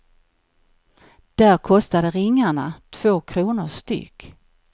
Där kostade ringarna två kronor styck.